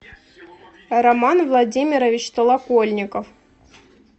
роман владимирович толокольников